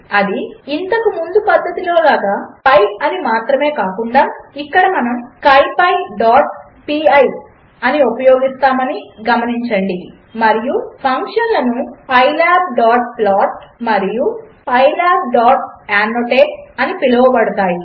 అది ఇంతకు ముందు పద్ధతిలో లాగా పిఐ అని మాత్రమే కాకుండా ఇక్కడ మనము scipyపిఐ అని ఉపయోగిస్తామని గమనించండి మరియు ఫంక్షన్లు pylabplot మరియు pylabannotate అని పిలువబడతాయి